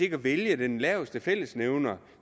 ikke vælge den laveste fællesnævner